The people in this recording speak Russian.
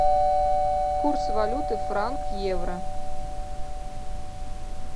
курс валюты франк евро